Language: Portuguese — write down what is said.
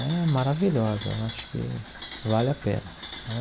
É maravilhosa, eu acho que vale a pena né.